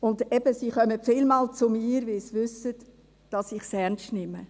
Sie kommen eben oft zu mir, weil sie wissen, dass ich es ernst nehme.